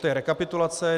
To je rekapitulace.